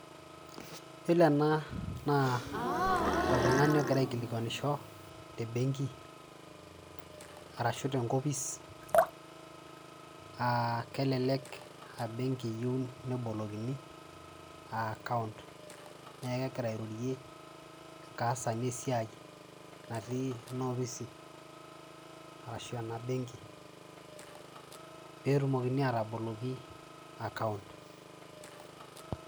Yolo ena naa oltungani ogira aikilikuanisho tembenki arashu tenkopis aa kelelek aa embenki eyieu nebolokini aa account kaas ake esiai naitirikino ina ofis arashu enabenki petumoki ataboloki account.